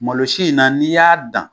Malosi in na n'i y'a dan